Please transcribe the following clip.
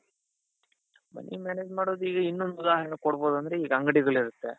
money manage ಮಾಡೋದು ಇನ್ನೊಂದ್ ಉದಾಹರಣೆಕೊಡ್ಬಹುದು ಅಂದ್ರೆ ಈಗ ಅಂಗಡಿಗಳಿರುತ್ತೆ.